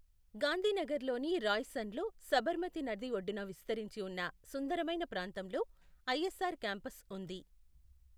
గాంధీనగర్లోని రాయ్సన్లో, సబర్మతి నది ఒడ్డున విస్తరించి ఉన్న సుందరమైన ప్రాంతంలో ఐఎస్ఆర్ క్యాంపస్ ఉంది.